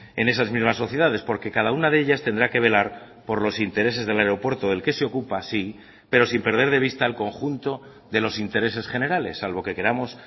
en esas mismas sociedades porque cada una de ellas tendrá que velar por los intereses del aeropuerto del que se ocupa sí pero sin perder de vista el conjunto de los intereses generales salvo que queramos